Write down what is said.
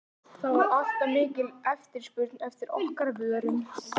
Lalli hafði aldrei séð annað eins drasl.